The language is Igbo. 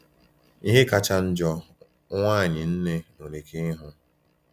Ihe kacha njọ nwaanyị nne nwere ike ịhụ.